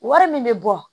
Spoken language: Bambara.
Wari min bɛ bɔ